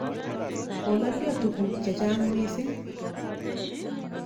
Kolalyo tuguk che chang' missing'.